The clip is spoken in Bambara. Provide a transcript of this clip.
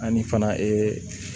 Ani fana